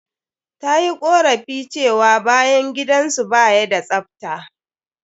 Ta yi ƙorafi cewa bayan gidan su ba ya da tsafta.